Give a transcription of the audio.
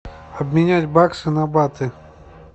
обменять баксы на баты